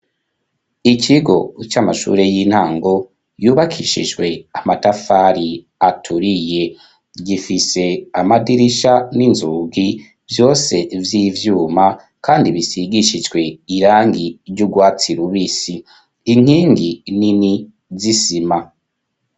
Ikigo c'amashure y'intango yubakishijwe amatafari aturiye gifise amadirisha n'inzugi vyose by'ivyuma kandi bisigishijwe irangi ry'ubwatsi rubisi, inkingi nini z'isima.